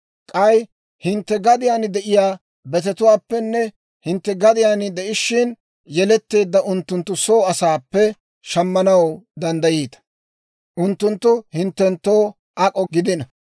K'ay hintte gadiyaan de'iyaa betetuwaappenne hintte gadiyaan de'ishshin yeletteedda unttunttu soo asaappe shammanaw danddayiita; unttunttu hinttenttoo ak'o gidino.